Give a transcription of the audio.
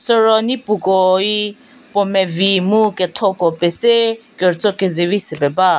siro nipukoi puo mevi mu ketho ko pese kertso kezivi se pie ba.